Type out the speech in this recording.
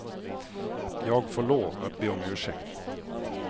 Jag får lov att be om ursäkt.